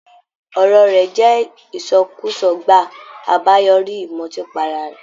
Ọ̀rọ̀ rẹ̀ jẹ ìsọkúsọ gbàá, àbáyoríi ìmùtípara re